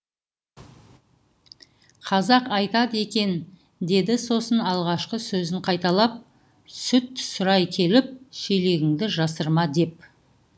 қазақ айтады екен деді сосын алғашқы сөзін қайталап сүт сұрай келіп шелегіңді жасырма деп